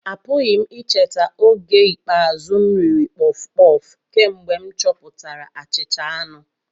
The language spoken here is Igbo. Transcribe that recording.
Apụghị m icheta oge ikpeazụ m riri puff-puff kemgbe m chọpụtara achicha anu